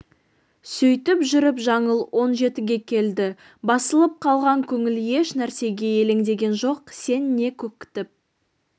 сөйтіп жүріп жаңыл он жетіге келді басылып қалған көңіл еш нәрсеге елеңдеген жоқ сен не көкітіп